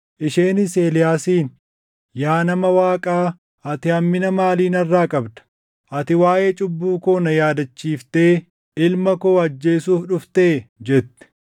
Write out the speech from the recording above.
Isheenis Eeliyaasiin, “Yaa nama Waaqaa, ati hammina maalii narraa qabda? Ati waaʼee cubbuu koo na yaadachiiftee ilma koo ajjeesuuf dhuftee?” jette.